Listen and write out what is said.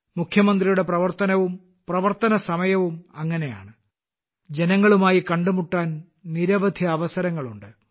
മുഖ്യമന്ത്രിയുടെ പ്രവർത്തനവും പ്രവർത്തനസമയവും അങ്ങനെയാണ് ജനങ്ങളുമായി കണ്ടുമുട്ടാൻ നിരവധി അവസരങ്ങളുണ്ട്